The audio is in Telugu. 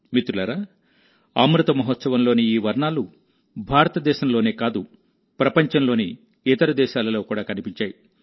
మిత్రులారాఅమృత మహోత్సవంలోని ఈ వర్ణాలు భారతదేశంలోనే కాదు ప్రపంచంలోని ఇతర దేశాలలో కూడా కనిపించాయి